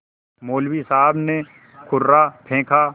मौलवी साहब ने कुर्रा फेंका